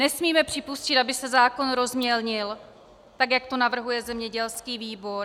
Nesmíme připustit, aby se zákon rozmělnil tak, jak to navrhuje zemědělský výbor.